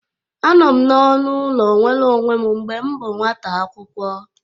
Anọ m n'ọnụ ụlọ nwere onwe m mgbe m bụ nwata akwụkwọ